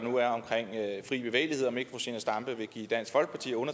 fri bevægelighed om ikke fru zenia stampe vil give dansk folkeparti og